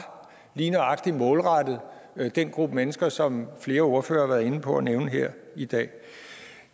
lige nøjagtig målrettet den gruppe mennesker som flere ordførere har været inde på at nævne her i dag